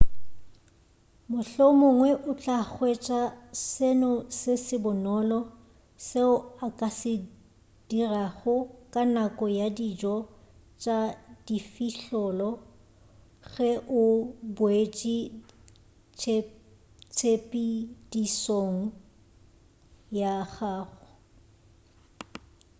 mohlomongwe o tla hwetša seno se bonolo seo o ka se dirago ka nako ya dijo tša difihlollo ge o boetše tshepedišong ya gago